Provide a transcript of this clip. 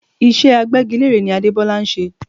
Iṣẹ́ Agbẹ́gilére ni Adebola ń ṣe